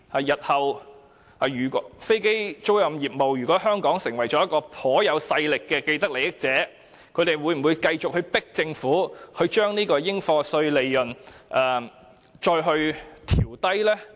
如果日後飛機租賃業務在香港成為頗有勢力的既得利益者，他們會否繼續逼迫政府將應課稅利潤調低呢？